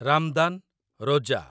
Ramadan, Roja